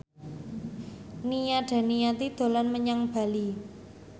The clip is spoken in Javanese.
Nia Daniati dolan menyang Bali